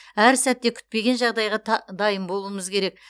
әр сәтте күтпеген жағдайға дайын болуымыз керек